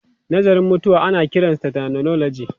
Nazarin mutuwa ana kiransa thanatology.